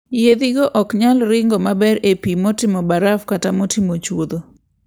Yiedhigo ok nyal ringo maber e pi motimo baraf kata motimo chuodho.